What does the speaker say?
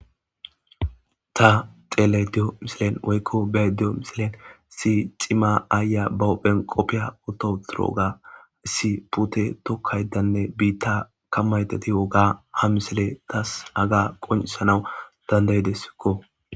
Ta xeelaydiyo misilen woykko beydiyo misilyen si cima aaya bahopphen qoppiya atoturooga issi pute tokkaydanne biitta kammayteti woga ha misile tas haga qonisanawu dandayidessikko.